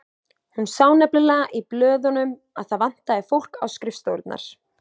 Hún sá nefnilega í blöðunum að það vantaði fólk á skrifstofurnar.